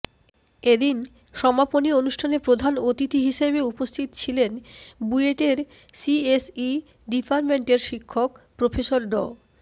এদিন সমাপনী অনুষ্ঠানে প্রধান অতিথি হিসেবে উপস্থিত ছিলেন বুয়েটের সিএসই ডিপার্টমেন্টের শিক্ষক প্রফেসর ড